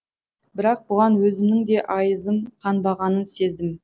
бірақ бұған өзімнің де айызым қанбағанын сездім